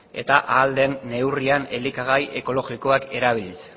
eta ahal den neurrian elikagai ekologikoak erabiliz